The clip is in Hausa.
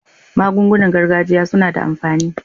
Magungunan gargajiya suna da amfani.